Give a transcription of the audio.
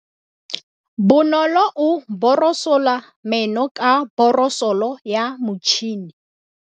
Bonolô o borosola meno ka borosolo ya motšhine.